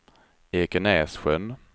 Ekenässjön